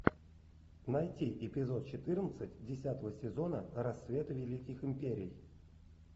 найти эпизод четырнадцать десятого сезона рассвет великих империй